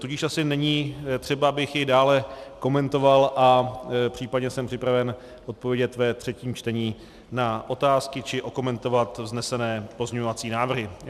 Tudíž asi není třeba, abych jej dále komentoval, a případně jsem připraven odpovědět ve třetím čtení na otázky či okomentovat vznesené pozměňovací návrhy.